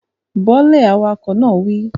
Bọ́ lẹ̀, awakọ̀ náà wí